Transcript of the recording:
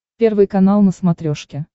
первый канал на смотрешке